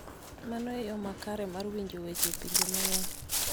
Mano e yo makare mar winjo weche e pinje mang�eny.